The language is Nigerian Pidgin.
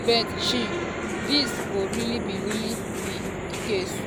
but shey dis go really be really be di case?